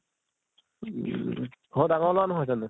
উম । ঘৰৰ ডাঙৰ লʼৰা নহয় জানো ?